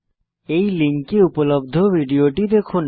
এই লিঙ্কে উপলব্ধ ভিডিওটি দেখুন